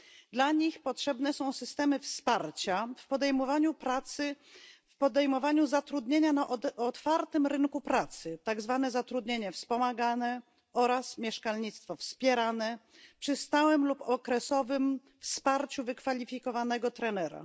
Dla nich potrzebne są systemy wsparcia w podejmowaniu zatrudnienia na otwartym rynku pracy, tak zwane zatrudnienie wspomagane, oraz mieszkalnictwo wspierane, przy stałym lub okresowym wsparciu wykwalifikowanego trenera.